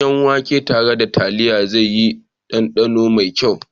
Danyen wake tare da taliya zai yi danɗano mai kyau.